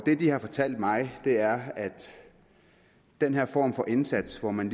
de har fortalt mig er at den her form for indsats hvor man